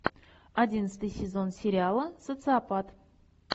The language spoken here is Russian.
одиннадцатый сезон сериала социопат